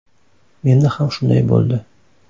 Menda ham shunday bo‘ldi.